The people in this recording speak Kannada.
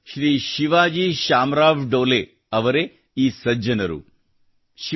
ಮಹಾರಾಷ್ಟ್ರದ ಶ್ರೀ ಶಿವಾಜಿ ಶಾಮರಾವ್ ಡೋಲೇ ಅವರೇ ಈ ಸಜ್ಜನರು